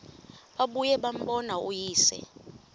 babuye bambone uyise